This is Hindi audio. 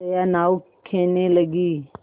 जया नाव खेने लगी